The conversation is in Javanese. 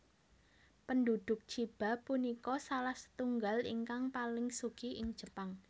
Penduduk Chiba punika salah satunggal ingkang paling sugih ing Jepang